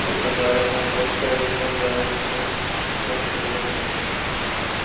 ഇപ്പൊ എന്തായാലും നോമ്പോക്കെ കഴിയുമ്പൊ എന്തായാലും ഇനിപ്പൊ work കള് വന്നോണ്ടിരിക്കും.